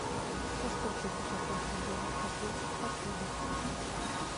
насколько безопасны велопрогулки в отеле